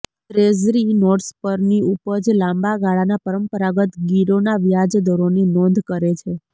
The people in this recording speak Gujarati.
ટ્રેઝરી નોટ્સ પરની ઉપજ લાંબા ગાળાના પરંપરાગત ગીરોના વ્યાજ દરોની નોંધ કરે છે